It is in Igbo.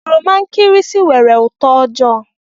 Oroma nkịrịsị nwere uto ojoo.